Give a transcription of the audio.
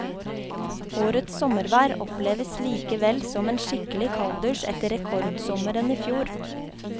Årets sommervær oppleves likevel som en skikkelig kalddusj etter rekordsommeren i fjor.